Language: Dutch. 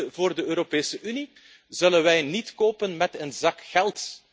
Liefde voor de Europese Unie zullen wij niet kopen met een zak geld.